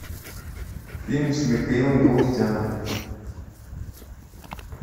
фильм с михаилом галустяном